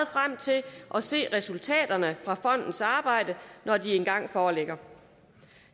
og se resultaterne af fondens arbejde når de engang foreligger